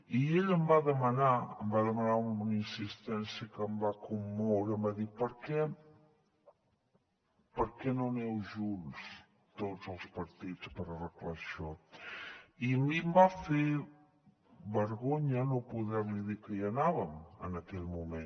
i ell em va demanar amb una insistència que em va commoure em va dir per què per què no aneu junts tots els partits per arreglar això i a mi em va fer vergonya no poder li dir que hi anàvem en aquell moment